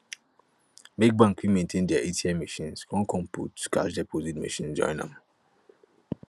make bank fit maintain dia atm machines kon machines kon put cash deposit machines join am